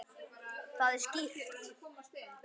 Það er skýrt.